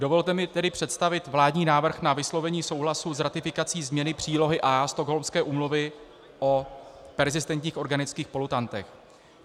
Dovolte mi tedy představit vládní návrh na vyslovení souhlasu s ratifikací změny přílohy A Stockholmské úmluvy o perzistentních organických polutantech.